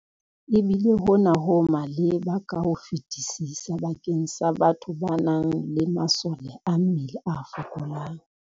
Ebile hona ho maleba ka ho fetisisa bakeng sa batho ba nang le masole a mmele a fokolang.